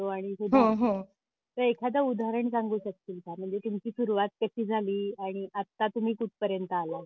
आणि हो तू एखाद उदाहरण सांगू शकशील का म्हणजे तुमची सुरुवात कशी झाली आणि आता तुम्ही कुठपर्यंत आलाय?